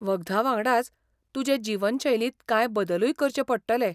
वखदां वांगडाच, तुजे जीवनशैलींत कांय बदलूय करचें पडटले.